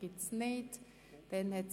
– Das ist nicht der Fall.